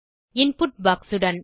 input box உடன்